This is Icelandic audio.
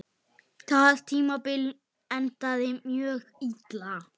Það tímabil endaði mjög illa.